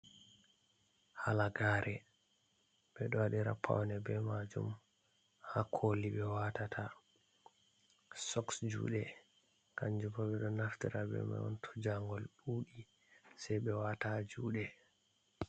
Halagare ɓeɗo waɗira paune be majum ha koli ɓe watata sok juɗe kanjubo ɓeɗo naftira be majum to jangol ɗuɗi sei be wata ha juɗe.